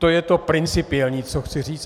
To je to principiální, co chci říct.